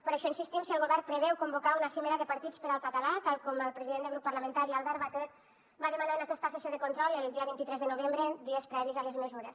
per això insistim en si el govern preveu convocar una cimera de partits per al català tal com el president del grup parlamentari albert batet va demanar en aquesta sessió de control el dia vint tres de novembre dies previs a les mesures